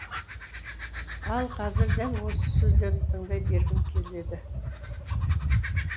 ал қазір дәл осы сөздерін тыңдай бергім келеді